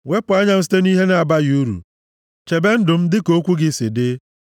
Wepụ anya m site nʼihe na-abaghị uru; chebe ndụ m dịka okwu gị si dị. + 119:37 Mee ka m dị ndụ nʼụzọ gị